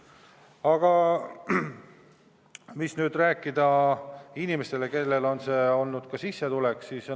Aga mida rääkida inimestele, kellele see on olnud ka sissetulek?